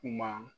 Kuma